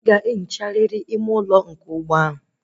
Iwu bụ na ị ga ehicha elu ime ụlọ ụgbọ